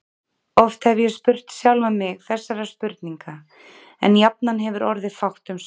Oft hef ég spurt sjálfan mig þessara spurninga, en jafnan hefur orðið fátt um svör.